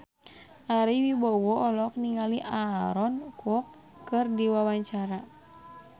Ari Wibowo olohok ningali Aaron Kwok keur diwawancara